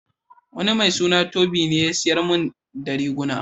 Wani mai suna Tobi ne ya siyar min da riguna.